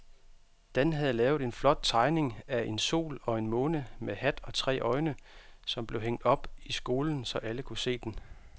Dan havde lavet en flot tegning af en sol og en måne med hat og tre øjne, som blev hængt op i skolen, så alle kunne se den.